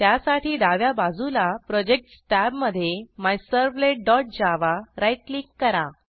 त्यासाठी डाव्या बाजूला प्रोजेक्ट्स टॅब मधे मिझर्व्हलेट डॉट जावा राईट क्लिक करा